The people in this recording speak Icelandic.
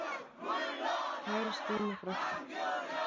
Kæra Stína frænka.